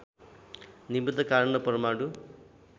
निमित्त कारण र परमाणु